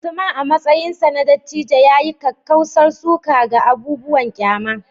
Usman, a matsayinsa na dattijo, ya yi kakkausar suka ga abubuwan ƙyama